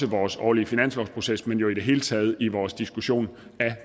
vores årlige finanslovsproces men jo også i det hele taget i vores diskussion af